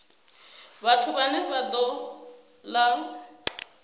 vhathu vhane vha ṱo ḓa